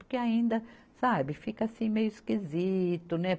Porque ainda, sabe, fica assim meio esquisito, né?